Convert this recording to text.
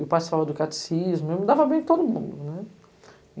participava do catecismo, me dava bem com todo mundo, né.